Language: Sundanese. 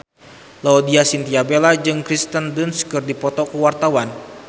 Laudya Chintya Bella jeung Kirsten Dunst keur dipoto ku wartawan